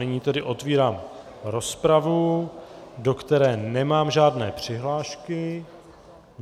Nyní tedy otevírám rozpravu, do které nemám žádné přihlášky.